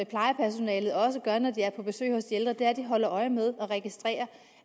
plejepersonalet også gør når de er på besøg hos de ældre at de holder øje med og registrerer